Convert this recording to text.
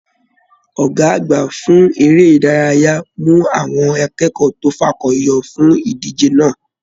Ọgá àgbà fún eré ìdárayá mu àwọn akẹ́kọ̀ọ́ to fakọyọ fún ìdíje náà.